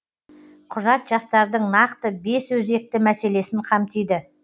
құжат жастардың нақты бес өзекті мәселесін қамтиды